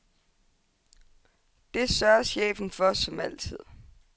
Det sørger chefen for som altid.